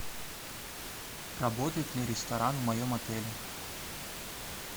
работает ли ресторан в моем отеле